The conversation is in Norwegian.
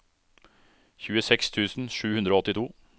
tjueseks tusen sju hundre og åttito